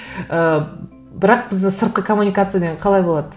ы бірақ бізде сыртқы коммуникация деген қалай болады